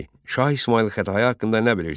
Şah İsmayıl Xətai haqqında nə bilirsən?